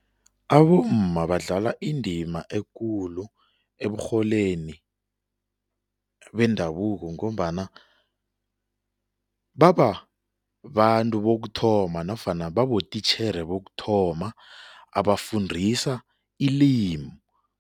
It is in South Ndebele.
Abomma badlala indima ekulu eburholeni bendabuko ngombana bababantu bokuthoma nofana babotitjhere bokuthoma abafundisa ilimi.